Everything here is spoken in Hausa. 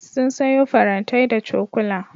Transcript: Sun sayo farantai da cokula.